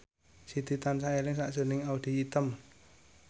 Siti tansah eling sakjroning Audy Item